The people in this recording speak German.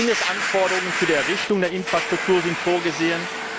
Mindestanforderungen für die Errichtung der Infrastruktur sind vorgesehen.